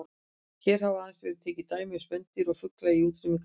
Hér hafa aðeins verið tekin dæmi um spendýr og fugla í útrýmingarhættu.